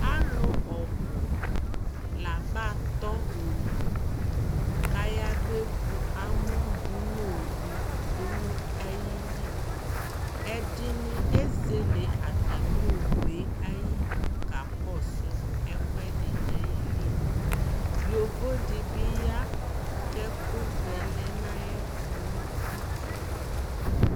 Alʋ ɔbʋ laba tɔ owu k'ayab'evu amɔ dʋ nʋ owu dʋ nʋ ayili Ɛdɩnɩ ezele atamɩ owu yɛ ayidu k'akɔsʋ ɛkʋɛdɩ n'ayili Yovo dɩ bɩ ya k'ɛkʋ vɛ lɛ n'ayɛtʋ nʋ utikpa